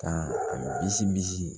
Ka a bisi bi